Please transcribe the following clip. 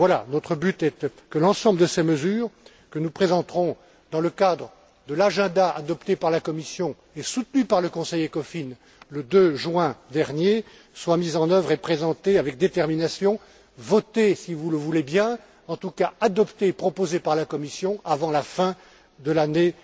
Notre but est que l'ensemble de ces mesures, que nous présenterons dans le cadre de l'agenda adopté par la Commission et soutenu par le Conseil ECOFIN le 2 juin dernier, soient mises en œuvre et présentées avec détermination, votées si vous le voulez bien, en tout cas adoptées et proposées par la Commission avant la fin de l'année